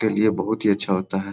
चलिए बहुत ही अच्छा होता है।